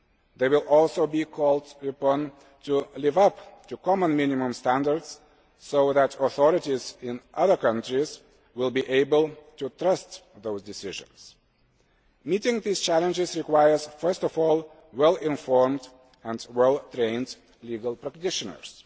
They will also be called upon to live up to common minimum standards so that authorities in other countries will be able to trust those decisions. Meeting these challenges requires, first of all, well informed and well trained legal practitioners.